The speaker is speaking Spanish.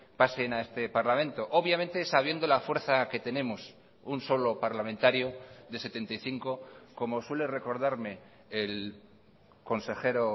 pasen a este parlamento obviamente sabiendo la fuerza que tenemos un solo parlamentario de setenta y cinco como suele recordarme el consejero